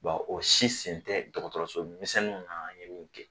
o si sen tɛ dɔgɔtɔrɔso misɛnninw na ye min kɛ